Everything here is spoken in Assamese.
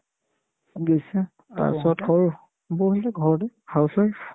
বুজিছা তাৰপিছত সৰু বৌ হ'তে ঘৰতে housewife